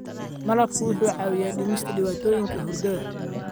Malabka wuxuu caawiyaa dhimista dhibaatooyinka hurdada.